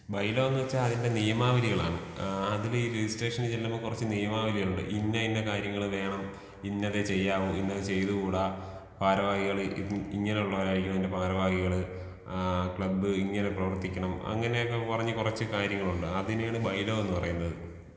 By law എന്ന് വെച്ച അതിന്റെ നിയമാവലികളാണ്. ആ അതിൽ ഈ രെജിസ്ട്രേഷൻ ചെലുമ്പോ കൊറച്ച് നിയമാവലികളുണ്ട്. ഇന്ന ഇന്ന കാര്യങ്ങൾ വേണം ഇന്നതേ ചെയ്യാവു ഇന്നത് ചെയ്തു കൂടാ ഭാരവാഹികൾ ഇങ്ങനെ ഉള്ളവരായിരിക്കണം അതിന്റെ ഭാരവാഹികൾ, ആ ക്ലബ് ഇങ്ങനെ പ്രവർത്തിക്കണം. അങ്ങനെയൊക്കെ പറഞ്ഞ് കൊറച്ച് കാര്യങ്ങളുണ്ട് അതിനെയാണ് ബൈ ലോ എന്ന് പറയുന്നത്.